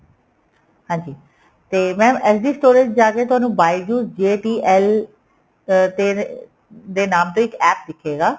ਹਾਂਜੀ ਤੇ mam SD storage ਜਾ ਕੇ ਤੁਹਾਨੂੰ bijou's JTL ਅਹ ਤੇ ਦੇ ਨਾਮ ਤੋਂ ਇੱਕ APP ਦਿਖੇਗਾ